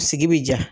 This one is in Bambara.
Sigi bi ja